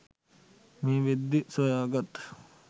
මේ වෙද්දී සොයාගත්